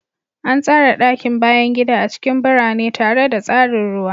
An tsara ɗakin bayan gida a cikin birane tare da tsarin ruwa.